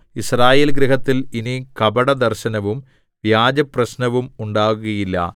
യിസ്രായേൽഗൃഹത്തിൽ ഇനി കപടദർശനവും വ്യാജപ്രശ്നവും ഉണ്ടാകുകയില്ല